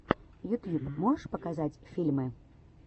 ютьюб можешь показать фильмы